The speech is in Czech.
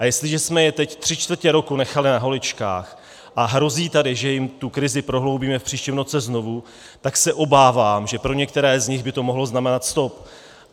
A jestliže jsme je teď tři čtvrtě roku nechali na holičkách a hrozí tady, že jim tu krizi prohloubíme v příštím roce znovu, tak se obávám, že pro některé z nich by to mohlo znamenat stop.